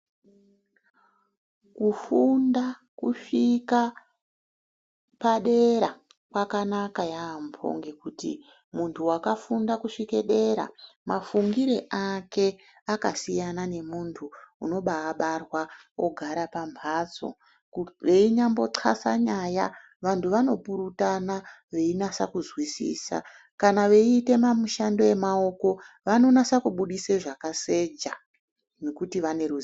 Kufunda kusvika padera kwakanaka yaamho, ngekuti muntu wakafunde kusvike dera mafungire ake akasiyana nemunhu unoba abarwa ogara pamhatso, enyambo tnxhlase nyaya vantu vanopurutana veinase kuzwisisa kana veite mishando yemaoko vanonase kubudisa zvakaseja nekuti vane ruzivo....